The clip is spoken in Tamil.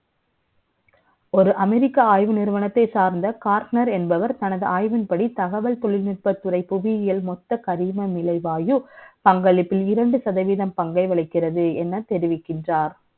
ஒரு America ஆய்வு நிறுவனத்தை சார்ந்த, cortner என்பவர், தனது ஆய்வின்படி, தகவல் த ொழில்நுட்பத்துறை, புவியியல் ம ொத்த கரிமலை வாயு, பங்களிப்பில் இரண்டு சதவதீ ம் பங்கை வகிக்கிறது எனதெ ரிவிக்கின்றார்.